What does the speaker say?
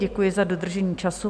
Děkuji za dodržení času.